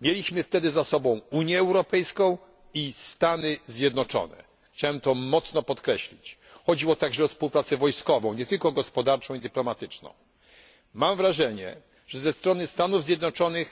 Mieliśmy za sobą Unię Europejską i Stany Zjednoczone. Chciałbym to mocno podkreślić. Chodziło także o współpracę wojskową, nie tylko gospodarczą i dyplomatyczną. Mam wrażenie, że ze strony Stanów Zjednoczonych